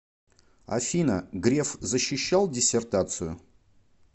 афина греф защищал диссертацию